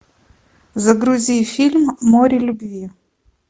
загрузи фильм море любви